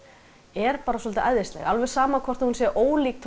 er bara svolítið æðisleg alveg sama þótt hún sé ólík